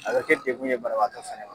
A bɛ kɛ degun ye banabagatɔ fɛnɛ ma.